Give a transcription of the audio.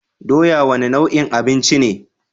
Doya wane nau'in abinci ce?